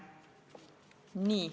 Nii.